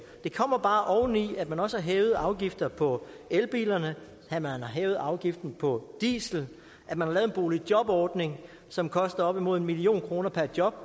det kommer bare oveni at man også har hævet afgiften på elbilerne at man har hævet afgiften på diesel at man har lavet en boligjobordning som koster op imod en million kroner per job